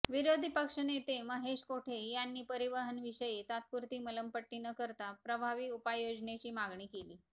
विरोधी पक्षनेते महेश कोठे यांनी परिवहनविषयी तात्पुरती मलमपट्टी न करता प्रभावी उपाययोजनेची मागणी केली